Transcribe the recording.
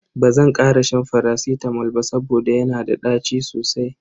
Bazan kara shan faracitamol ba saboda yana da ɗaci sosai.